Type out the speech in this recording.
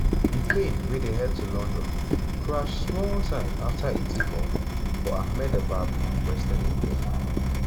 di plane wey dey head to london crash small time afta e take-off for ahmedabad western india.